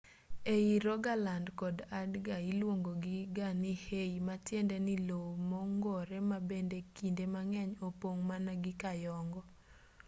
ei rogaland kod agder iluongogi ga ni hei matiende ni lowo mongoro ma bende kinde mang'eny opong' mana gi kayongo